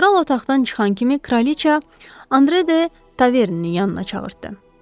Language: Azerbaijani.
Kral otaqdan çıxan kimi, kraliça Andre de Taverniyanına çağırtdı.